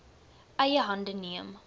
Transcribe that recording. eie hande neem